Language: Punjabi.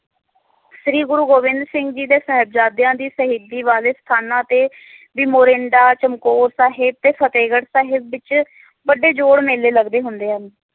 ਸ਼੍ਰੀ ਗੁਰੂ ਗੋਬਿੰਦ ਸਿੰਘ ਜੀ ਦੇ ਸਾਹਿਬਜਾਦਿਆਂ ਦੀ ਸ਼ਹੀਦੀ ਵਾਲੇ ਸਥਾਨਾਂ ਤੇ ਵੀ ਮੋਰਰਿੰਦਾ, ਚਮਕੌਰ ਸਾਹਿਬ, ਤੇ ਫਤਹਿਗੜ੍ਹ ਸਾਹਿਬ ਵਿਚ ਵੱਡੇ ਜੋਰ ਮੇਲੇ ਲੱਗਦੇ ਹੁੰਦੇ ਹਨ